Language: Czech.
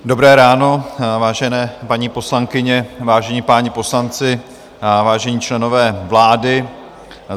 Dobré ráno, vážené paní poslankyně, vážení páni poslanci, vážení členové vlády.